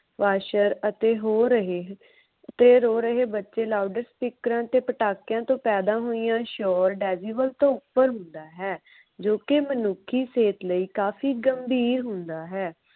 Washer ਅਤੇ ਹੋ ਰਹੇ ਤੇ ਰੋ ਰਹੇ ਬੱਚੇ ਲਾਊਡ ਸਪੀਕਰਾਂ ਅਤੇ ਪਟਾਕਿਆਂ ਤੋਂ ਪੈਦਾ ਹੋਈਆਂ ਸ਼ੋਰ decibel ਤੋਂ ਉਪਰ ਹੁੰਦਾ ਹੈ। ਜੋ ਕਿ ਮਨੁੱਖੀ ਸਿਹਤ ਲਈ ਕਾਫੀ ਗੰਭੀਰ ਹੁੰਦਾ ਹੈ।